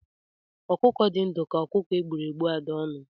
Ọkụkọ dị ndụ ka ọkụkọ e gbụrụ egbu ada ọnụ